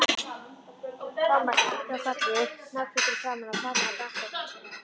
Thomas kinkaði kolli, náhvítur í framan, og faðmaði bakpokann sinn.